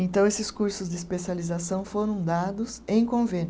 Então esses cursos de especialização foram dados em convênio.